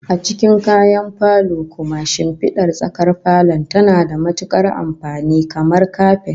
A cikin kayan falo kuma, shimfidar tsakar falon tana da matukar amfani, kamar kapet